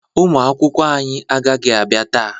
Ụmụakwụkwọ anyị agaghị abịa taa